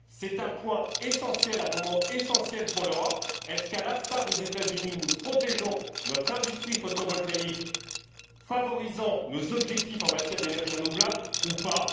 C'est un point essentiel, un moment essentiel pour l'Europe. Est ce qu'à l'instar des États Unis, nous protégeons notre industrie photovoltaïque, afin de favoriser nos objectifs en matière d'énergie renouvelable, ou pas?